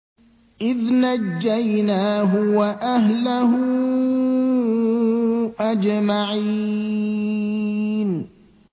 إِذْ نَجَّيْنَاهُ وَأَهْلَهُ أَجْمَعِينَ